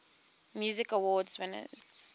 music awards winners